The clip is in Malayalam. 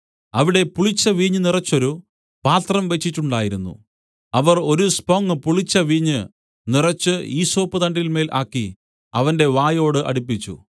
അവിടെ പുളിച്ച വീഞ്ഞ് നിറഞ്ഞൊരു പാത്രം വെച്ചിട്ടുണ്ടായിരുന്നു അവർ ഒരു സ്പോങ്ങ് പുളിച്ച വീഞ്ഞ് നിറച്ച് ഈസോപ്പുതണ്ടിന്മേൽ ആക്കി അവന്റെ വായോട് അടുപ്പിച്ചു